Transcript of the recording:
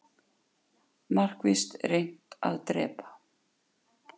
Markvisst reynt að drepa